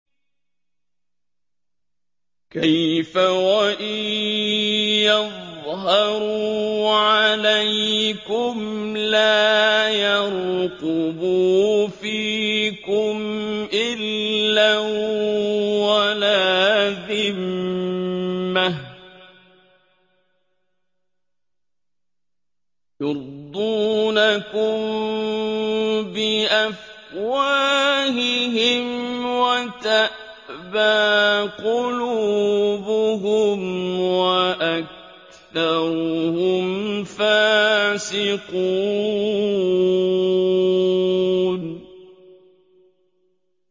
كَيْفَ وَإِن يَظْهَرُوا عَلَيْكُمْ لَا يَرْقُبُوا فِيكُمْ إِلًّا وَلَا ذِمَّةً ۚ يُرْضُونَكُم بِأَفْوَاهِهِمْ وَتَأْبَىٰ قُلُوبُهُمْ وَأَكْثَرُهُمْ فَاسِقُونَ